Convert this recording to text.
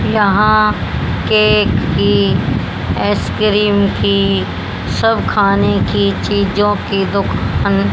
यहां केक की आइसक्रीम की सब खाने की चीजों की दुकान--